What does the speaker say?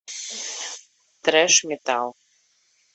трэш метал